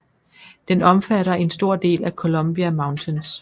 Den omfatter en stor del af Columbia Mountains